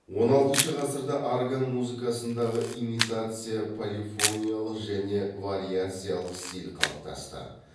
он алтыншы ғасырда орган музыкасындағы имитация полифониялық және вариациялық стиль қалыптасты